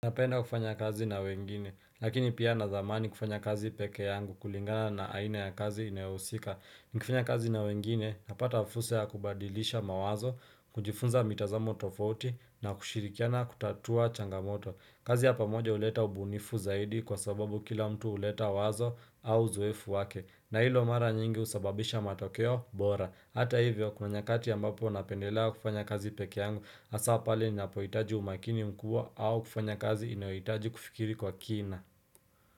Napenda kufanya kazi na wengine lakini pia nazamani kufanya kazi pekee yangu kulingana na aina ya kazi inayohusika Nikifanya kazi na wengine napata fursa ya kubadilisha mawazo kujifunza mitazamo tofauti na kushirikiana kutatua changamoto kazi ya pamoja uleta ubuunifu zaidi kwa sababu kila mtu uleta wazo au uzoefu wake na hilo mara nyingi usababisha matokeo bora Hata hivyo kuna nyakati ambapo napendelea kufanya kazi pekee yangu hasa pale ninapohitaji umakini mkuwa au kufanya kazi inayohitaji kufikiri kwa kina.